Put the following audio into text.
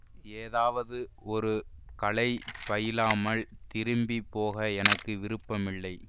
ஏதாவது ஒரு கலை பயிலாமல் திரும்பி போக எனக்கு விருப்பமில்லை